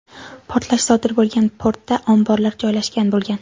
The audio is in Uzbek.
Portlash sodir bo‘lgan portda omborlar joylashgan bo‘lgan .